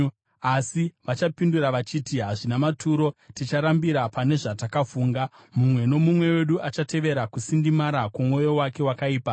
Asi vachapindura vachiti, ‘Hazvina maturo. Ticharambira pane zvatakafunga; mumwe nomumwe wedu achatevera kusindimara kwomwoyo wake wakaipa.’ ”